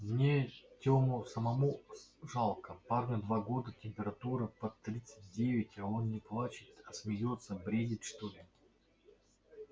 мне тёму самому жалко парню два года температура под тридцать девять а он не плачет а смеётся бредит что ли